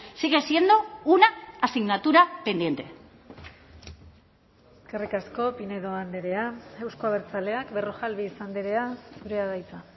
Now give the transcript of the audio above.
sigue siendo una asignatura pendiente eskerrik asko pinedo andrea euzko abertzaleak berrojalbiz andrea zurea da hitza